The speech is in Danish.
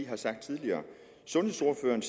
har sagt tidligere sundhedsordføreren